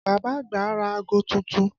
Bàbá àgbà ra aago tuntun